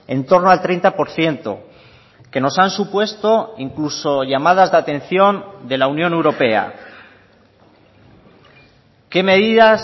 entorno al treinta por ciento que nos han supuesto incluso llamadas de atención de la unión europea qué medidas